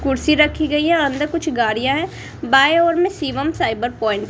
कुर्सी रखी गई है अंदर कुछ गाड़ियां है बाएं ओर में शिवम साइबर प्वाइंट --